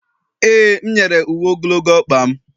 e, m nyere m uwe ogologo ọkpa m